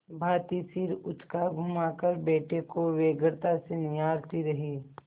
भाँति सिर उचकाघुमाकर बेटे को व्यग्रता से निहारती रही